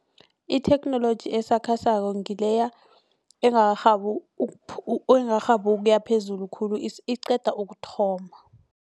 Itheknoloji esakhasako ngileya engakarhabi engakarhabi ukuya phezulu khulu iqeda ukuthoma.